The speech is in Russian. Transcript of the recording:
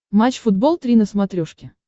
матч футбол три на смотрешке